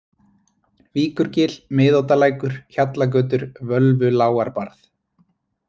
Víkurgil, Miðoddalækur, Hjallagötur, Völvulágarbarð